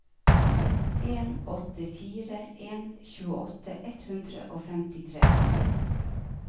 en åtte fire en tjueåtte ett hundre og femtitre